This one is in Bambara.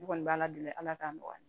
Ne kɔni b'a ala deli ala k'a nɔgɔya